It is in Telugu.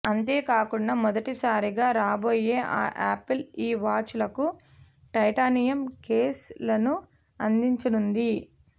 అంతేకాకుండా మొదటి సారిగా రాబోయే ఆపిల్ ఈ వాచ్ లకు టైటానియం కేస్ లను అందించనుంది